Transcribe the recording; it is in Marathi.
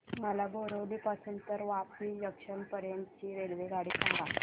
मला बोरिवली पासून तर वापी जंक्शन पर्यंत ची रेल्वेगाडी सांगा